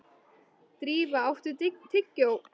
Drífa, áttu tyggjó?